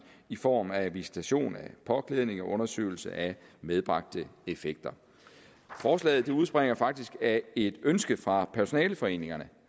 i form af visitation af påklædning og undersøgelse af medbragte effekter forslaget udspringer faktisk af et ønske fra personaleforeningerne